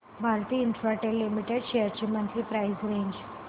Bharti Infratel limited shares ची monthly price range